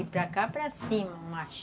E para cá, para cima, mais.